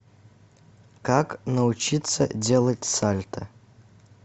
как научиться делать сальто